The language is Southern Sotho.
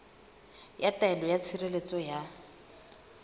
ya taelo ya tshireletso ya